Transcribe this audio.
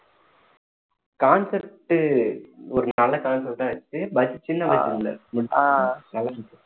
concept ஒரு நல்ல concept ஆ வச்சு budget சின்ன budget ல முடிச்சிடுறாங்க